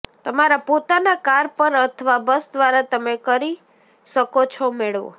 તમારા પોતાના કાર પર અથવા બસ દ્વારા તમે કરી શકો છો મેળવો